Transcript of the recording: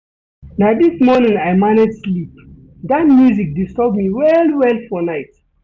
Na dis morning I manage sleep, dat music disturb me well-well for night.